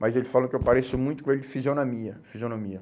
Mas ele falou que eu pareço muito com ele de fisionomia, fisionomia.